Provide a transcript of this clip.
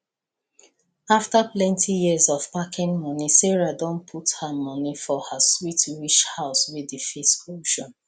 after plenty years of packing money sarah don put her money for her sweet wish house wey dey face ocean